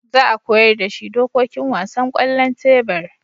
Za a koyar da shi dokokin wasan kwallon tebur